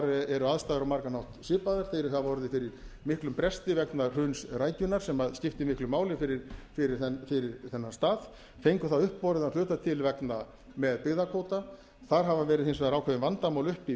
eru aðstæður á margan hátt svipaðar þeir hafa orðið fyrir miklum bresti vegna hruns rækjunnar sem skiptir miklu máli fyrir þennan stað fengu það uppborið að hluta til með byggðakvóta þar hafa verið hins vegar ákveðin vandamál uppi í